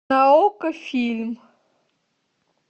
на окко фильм